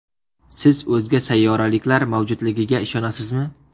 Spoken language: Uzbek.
Siz o‘zga sayyoraliklar mavjudligiga ishonasizmi?